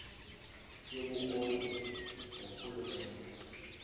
yobukro ti ngurhulumente